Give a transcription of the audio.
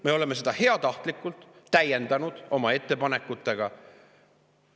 Me oleme seda heatahtlikult täiendanud oma ettepanekutega.